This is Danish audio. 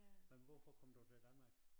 Men hvorfor kom du til Danmark?